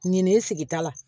Ɲinɛnin sigi ta la